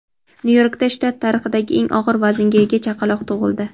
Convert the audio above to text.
Nyu-Yorkda shtat tarixidagi eng og‘ir vaznga ega chaqaloq tug‘ildi.